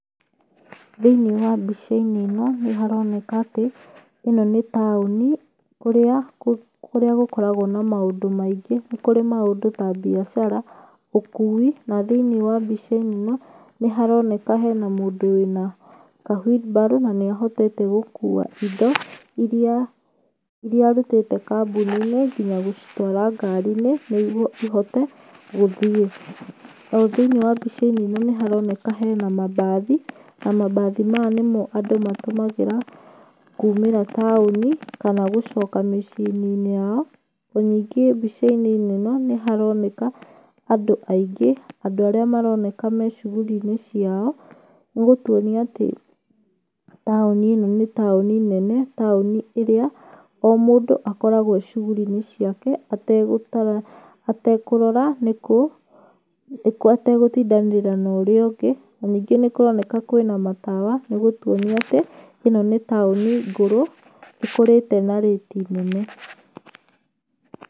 Thĩiinĩ wa mbicainĩ ĩno nĩ haroneka atĩ, ĩno nĩ taũni kũrĩa gũkoragwa na maũndũ maingĩ, nĩkũrĩ maũndũ ta biacara, ũkui na thĩinĩ wa bicainĩ ĩno nĩharoneka hena mũndũ wĩna ka wiribaro na níĩhotete gũkua indo irĩa arutĩte kambuninĩ nginya gũtwara ngarinĩ nĩguo ihote gũthiĩ, othĩinĩ wa bicainĩ ĩno nĩ haroneka hena mabathi na mabathi maya nĩmo andũ matũmagĩra kũmira taũni kana gũcoka mĩciĩnĩ yao, na ningĩ bicainĩ ĩno nĩ haroneka andũ aingĩ andũ arĩa maroneka meshughurinĩ ciao, nĩgũtuonia atĩ taũni ĩno nĩ taũni nene, taũni ĩrĩa omũndũ akoragwa eshughurinĩ ciake ategũkũrora nĩkũ ategũtindanĩrĩra na ũrĩa ũngĩ na ningĩ nĩ kũroneka kwĩna matawa nĩgũtuonia atĩ ĩno nĩ taũni ngũrũ, ĩkũrĩte na rĩti nene.